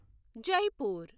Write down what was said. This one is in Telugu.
జైపూర్